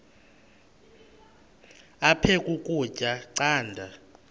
aphek ukutya canda